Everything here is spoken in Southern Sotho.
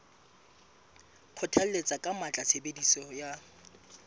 kgothalletsa ka matla tshebediso ya